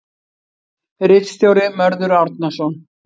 Ritstjóri: Mörður Árnason.